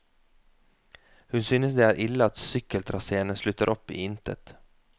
Hun synes det er ille at sykkeltraséene slutter opp i intet.